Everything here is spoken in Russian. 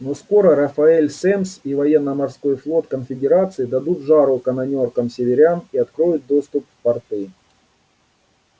но скоро рафаэль семмс и военно-морской флот конфедерации дадут жару канонёркам северян и откроют доступ в порты